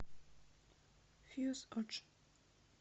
фьюз одж